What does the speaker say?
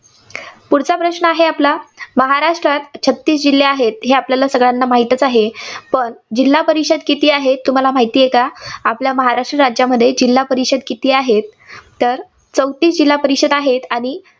पुढचा प्रश्न आहे आपला महाराष्ट्रात छत्तीस जिल्हे आहेत, हे आपल्याला सगळ्यांना माहितीच आहे. पण जिल्हा परिषद किती आहेत, तुम्हाला माहितेय का? महाराष्ट्र राज्यात जिल्हा परिषद किती आहेत? तर चौतीस जिल्हा परिषद आहेत, आणि